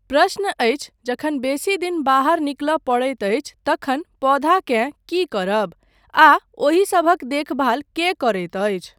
प्रश्न अछि जखन बेसी दिन बाहर निकलय पड़ैत अछि तखन पौधाकेँ की करब?आ ओहिसभक देखभाल केँ करैत अछिे?